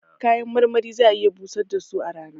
Kayan marmari za'a iya busar da su a rana